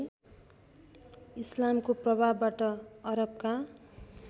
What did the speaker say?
इस्लामको प्रभावबाट अरबका